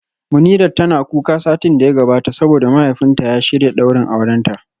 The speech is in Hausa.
Munirat tana kuka satin da ya gabata saboda mahaifinta ya shirya daurin aurenta